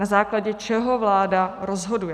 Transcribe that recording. Na základě čeho vláda rozhoduje?